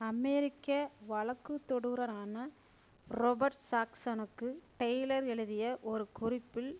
அமெரிக்க வழக்குதொடுரரான ரொபர்ட் ஜாக்சனுக்கு டெய்லர் எழுதிய ஒரு குறிப்பில்